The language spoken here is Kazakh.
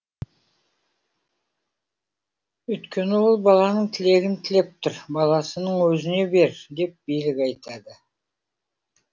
үйткені ол баланың тілегін тілеп тұр баласының өзіне бер деп билік айтады